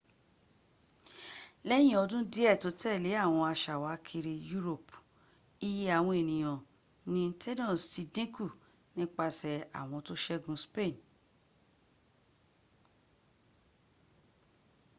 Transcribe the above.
láàrín ọdún díẹ̀ tó tẹ̀lé àwọn aṣàwákiri europe iye àwọn ènìyàn ní tainos ti dínkù nípasẹ̀ àwọn tó ṣẹgun spain